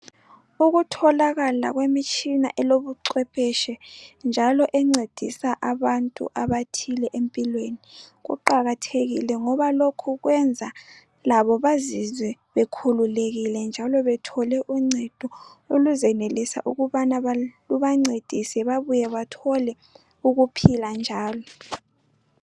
Ukutholakala kwemitshina elobucwepheshe njalo encedisa abantu abathile empilweni, kuqakathekile ngoba lokhu kwenza labo bazizwe bekhululekile njalo bathole uncedo oluzenelisa ukubana lubancedise babuye bathole ukuphila njalo